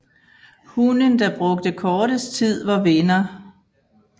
Hunden der brugte kortest tid var vinder